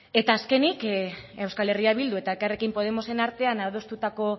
eta azkenik euskal herria bildu eta elkarrekin podemosen artean adostutako